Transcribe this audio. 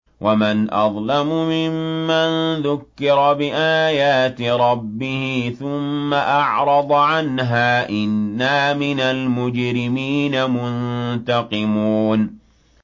وَمَنْ أَظْلَمُ مِمَّن ذُكِّرَ بِآيَاتِ رَبِّهِ ثُمَّ أَعْرَضَ عَنْهَا ۚ إِنَّا مِنَ الْمُجْرِمِينَ مُنتَقِمُونَ